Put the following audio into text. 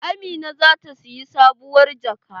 Amina zata siyi sabuwar jaka.